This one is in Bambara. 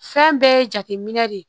Fɛn bɛɛ ye jateminɛ de ye